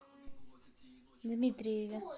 дмитриеве